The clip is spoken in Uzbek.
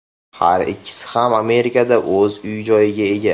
Har ikkisi ham Amerikada o‘z uy-joyiga ega.